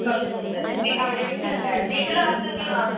ഉം അതെ. ആഹ്.